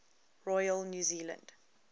royal new zealand